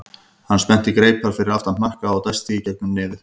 Hann spennti greipar fyrir aftan hnakka og dæsti í gegnum nefið.